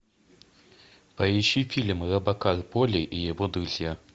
поищи фильм робокар поли и его друзья